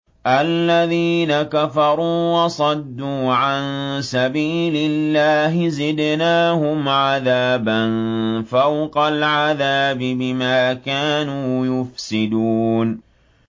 الَّذِينَ كَفَرُوا وَصَدُّوا عَن سَبِيلِ اللَّهِ زِدْنَاهُمْ عَذَابًا فَوْقَ الْعَذَابِ بِمَا كَانُوا يُفْسِدُونَ